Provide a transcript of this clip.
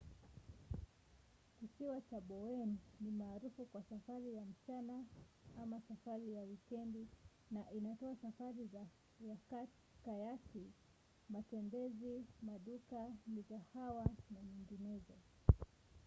kisiwa cha bowen ni maarufu kwa safari ya mchana ama safari ya wikendi na inatoa safari za kayaki matembezi maduka migahawa na nyinginezo